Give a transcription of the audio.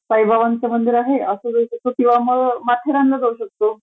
साईबाबांच मंदिर आहे असं किंवा मग माथेरान ला जाऊ शकतो